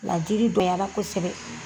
Laadiri yala kosɛbɛ.